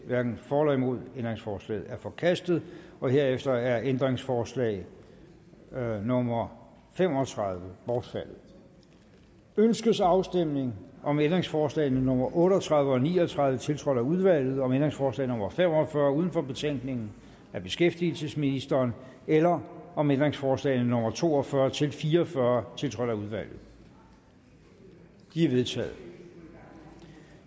hverken for eller imod stemte ændringsforslaget er forkastet herefter er ændringsforslag nummer fem og tredive bortfaldet ønskes afstemning om ændringsforslag nummer otte og tredive og ni og tredive tiltrådt af udvalget om ændringsforslag nummer fem og fyrre uden for betænkningen af beskæftigelsesministeren eller om ændringsforslag nummer to og fyrre til fire og fyrre tiltrådt af udvalget de er vedtaget